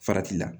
Farati la